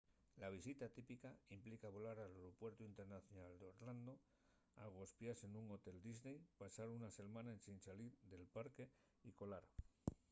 la visita típica” implica volar al aeropuertu internacional d'orlando agospiase nun hotel disney pasar una selmana ensin salir del parque y colar